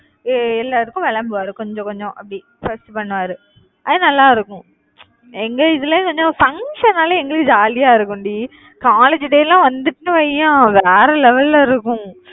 எ~ எல்லாருக்கும் வழங்குவாரு கொஞ்சம் கொஞ்சம் அப்படி first பண்ணுவாரு. அது நல்லா இருக்கும். எங்க இதுல இருந்து என்ன function னால எங்களுக்கு jolly ஆ இருக்கும் டி. college day எல்லாம் வந்துட்டுன்னு வையேன் வேற level ல இருக்கும்